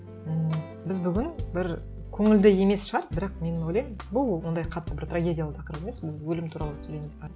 ммм біз бүгін бір көңілді емес шығар бірақ мен ойлаймын бұл ондай қатты бір трагедиялы тақырып емес біз өлім туралы сөйлейміз бе